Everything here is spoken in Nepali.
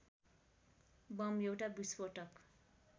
बम एउटा विस्फोटक